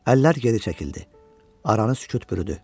Əllər geri çəkildi, aranı sükut bürüdü.